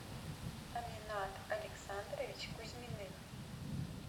аминат александрович кузьминых